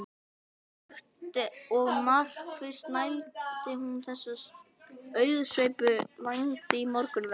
Hægt og markvisst snæddi hún þessa auðsveipu vængi í morgunverð.